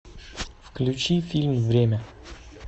включи фильм время